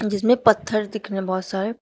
जिसमें पत्थर दिख रहे बहुत सारे।